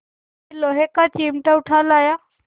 यह लोहे का चिमटा उठा लाया